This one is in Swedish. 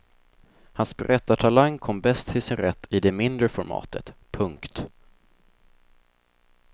Hans berättartalang kom bäst till sin rätt i det mindre formatet. punkt